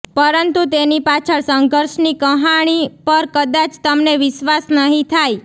પરંતુ તેની પાછળ સંઘર્ષની કહાણી પર કદાચ તમને વિશ્વાસ નહી થાય